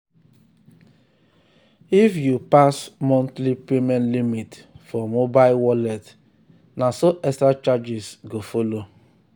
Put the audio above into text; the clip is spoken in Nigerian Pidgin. if you pass monthly payment limit for mobile wallet na so so extra charges go follow.